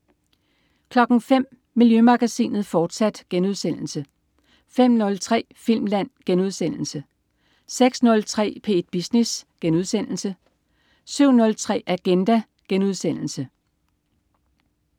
05.00 Miljømagasinet, fortsat* 05.03 Filmland* 06.03 P1 Business* 07.03 Agenda*